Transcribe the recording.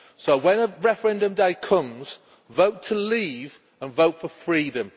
So, when referendum day comes, vote to leave and vote for freedom.